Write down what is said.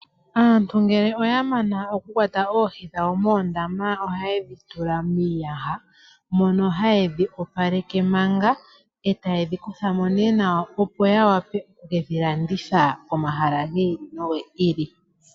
Aantu ngeke oya mana okukwata oohi dhawo moondama ohaye dhitula miiyaha. Mono haye dhiopaleke manga eta yedhi kuthamo ne nawa, opo ya wape oku kedhilanditha komahala gi ili nogi ili.